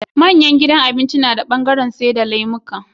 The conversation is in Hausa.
Manyan gidajan abinci nada bangaran saida lemuka